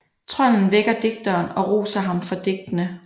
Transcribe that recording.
Trolden vækker digteren og roser ham for digtene